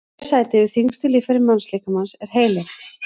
í þriðja sæti yfir þyngstu líffæri mannslíkamans er heilinn